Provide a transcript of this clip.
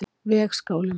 Vegskálum